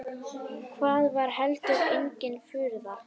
Það var heldur engin furða.